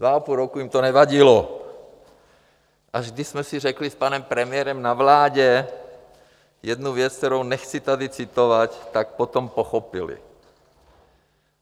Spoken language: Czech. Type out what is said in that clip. Dva a půl roku jim to nevadilo, až když jsme si řekli s panem premiérem na vládě jednu věc, kterou nechci tady citovat, tak potom pochopili.